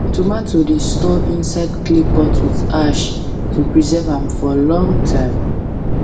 tomato dey store inside clay pot with ash to preserve am for long time